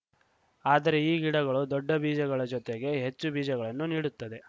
ಆದರೆ ಈ ಗಿಡಗಳು ದೊಡ್ಡ ಬೀಜಗಳ ಜೊತೆಗೆ ಹೆಚ್ಚು ಬೀಜಗಳನ್ನೂ ನೀಡುತ್ತದೆ